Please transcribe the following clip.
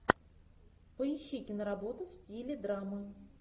поищи киноработу в стиле драма